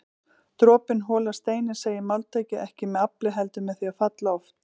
Dropinn holar steininn segir máltækið, ekki með afli heldur með því að falla oft